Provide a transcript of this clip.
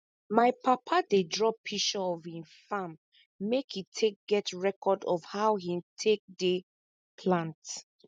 my papa dey draw pishure of hin farm make e take get record of how hin take dey plant